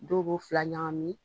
Dɔw b'o fila ɲagami